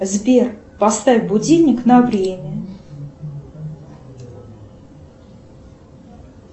сбер поставь будильник на время